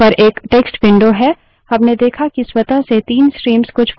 लेकिन अब graphical desktop पर एक text window है